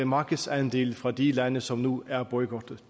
markedsandele fra de eu lande som nu er boykottet